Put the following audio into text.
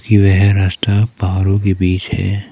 की वह रास्ता पहाड़ों के बीच है।